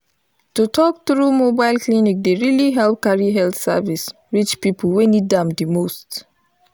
to talk true mobile clinic dey really help carry health service reach people wey need am the most.